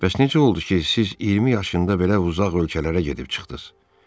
Bəs necə oldu ki, siz 20 yaşında belə uzaq ölkələrə gedib çıxdınız?